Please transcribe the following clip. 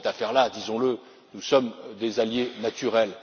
Dans cette affaire là, disons le, nous sommes des alliés naturels.